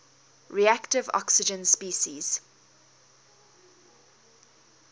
reactive oxygen species